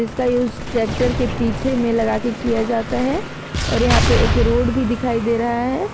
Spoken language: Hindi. उसका यूज ट्रैक्टर के पीछे में लगाकर किया जाता है और यहां पे एक रोड भी दिखाई दे रहा है।